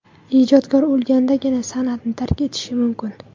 Ijodkor o‘lgandagina san’atni tark etishi mumkin.